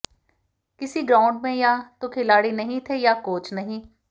किसी ग्राऊंड में या तो खिलाड़ी नहीं थे या कोच नहीं